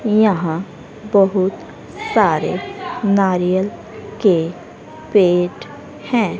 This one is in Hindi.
यहां बहुत सारे नारियल के पेड है।